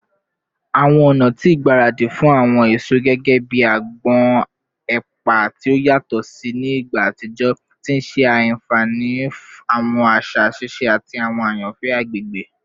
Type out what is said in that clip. Awọn ọna ti igbaradi fun awọn eso gẹgẹbi agbon ati epa ti o yatọ si ni igba atijọ, ti n ṣe afihan awọn aṣa sise ati awọn ayanfẹ agbegbe.